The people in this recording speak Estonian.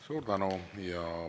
Suur tänu!